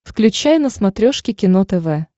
включай на смотрешке кино тв